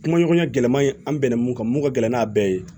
Kuma ɲɔgɔnya gɛlɛman ye an bɛnna mun kan mun ka gɛlɛn n'a bɛɛ ye